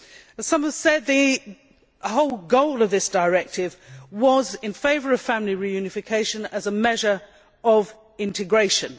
As someone said, the whole goal of this directive was in favour of family reunification as a measure of integration.